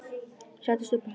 Ég settist upp á hjólið.